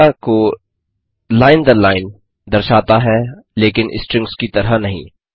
data को line दर line दर्शाता है लेकिन स्ट्रिंग्स की तरह नहीं